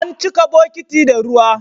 An cika bokiti da ruwa.